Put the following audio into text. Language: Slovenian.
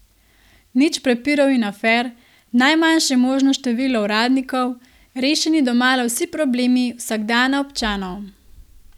Nič prepirov in afer, najmanjše možno število uradnikov, rešeni domala vsi problemi vsakdana občanov.